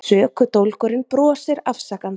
Sökudólgurinn brosir afsakandi.